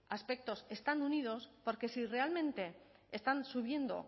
aspectos están unidos porque si realmente están subiendo